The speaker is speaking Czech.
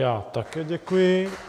Já také děkuji.